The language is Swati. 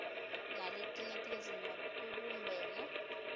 naletinye tindzima kubumbene